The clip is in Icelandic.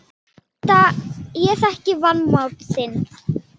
Ég þekki vanmátt þinn.